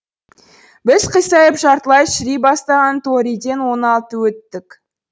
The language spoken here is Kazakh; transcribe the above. біз қисайып жартылай шіри бастаған торииден он алты өттік